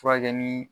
Furakɛli